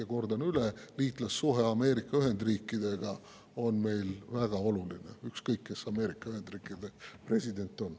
Ja kordan üle: liitlassuhe Ameerika Ühendriikidega on meile väga oluline, ükskõik, kes Ameerika Ühendriikide president on.